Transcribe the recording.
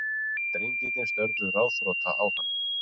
Drengirnir störðu ráðþrota á hann.